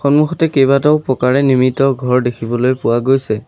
সন্মুখতে কেইবাটাও পকাৰে নিৰ্মিত ঘৰ দেখিবলৈ পোৱা গৈছে।